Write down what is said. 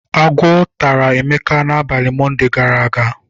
Agwọ tara Emeka n'abalị Monde gara aga.